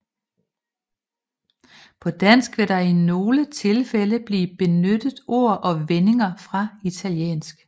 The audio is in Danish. På dansk vil der i nogle tilfælde blive benyttet ord og vendinger fra italiensk